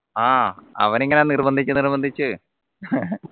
ആഹ് അവനെ ഇങ്ങനെ നിർബന്ധിച് നിർബന്ധിച്ച്